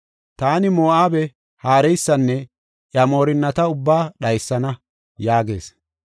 Taani Moo7abe haareysanne iya moorinnata ubbaa dhaysana” yaagees.